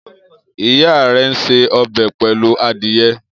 Iya re n se ọbẹ pelu adiye.